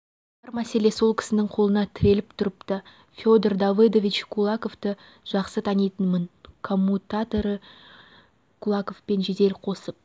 бар мәселе сол кісінің қолына тіреліп тұрыпты федор давыдович кулаковты жақсы танитынмын коммутаторы кулаковпен жедел қосып